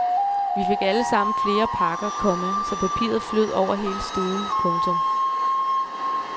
Vi fik alle sammen flere pakker, komma så papiret flød over hele stuen. punktum